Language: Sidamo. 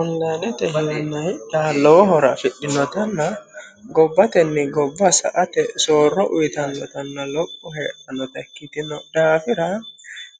onlayinete hirinna hidha lowohora fidhinotanna gobbatenni gobba sa ate soorro uyitannotanna lopho hee'annota ikkitino dhaafira